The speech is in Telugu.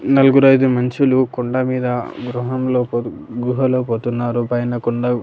నలుగురు ఐదు మనుషులు కొండమీద గృహంలో పోదు గుహలో పోతున్నారు పైన కొండ--